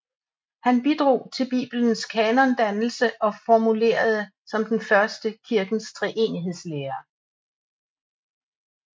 Han bidrog til Bibelens kanondannelse og formulerede som den første kirkens treenighedslære